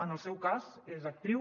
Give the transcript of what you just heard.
en el seu cas és actriu